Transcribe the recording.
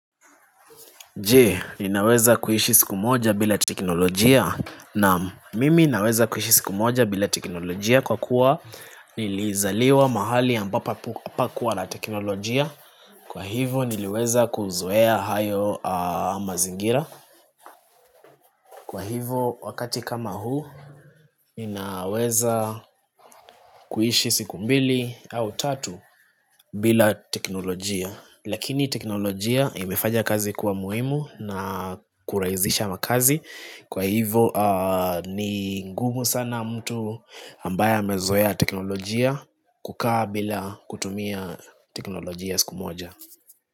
Je, ninaweza kuishi siku moja bila teknolojia naam mimi naweza kuishi siku moja bila teknolojia kwa kuwa nilizaliwa mahali ambapo hapakuwa na teknolojia Kwa hivo niliweza kuzoea hayo mazingira Kwa hivo wakati kama huu ninaweza kuishi siku mbili au tatu bila teknolojia. Lakini teknolojia imefaja kazi kuwa muhimu na kurahisisha makazi Kwa hivo ni ngumu sana mtu ambaya amezoea teknolojia kukaa bila kutumia teknolojia siku moja.